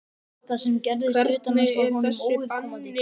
Það sem gerðist utan hans var honum óviðkomandi.